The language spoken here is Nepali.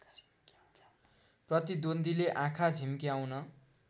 प्रतिद्वन्द्वीले आँखा झिम्क्याउन